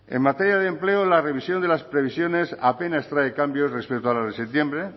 en materia de empleo la revisión de las previsiones apenas trae cambios respecto a las de septiembre